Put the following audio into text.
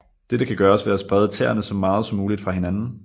Dette kan gøres ved at sprede tæerne så meget som muligt fra hinanden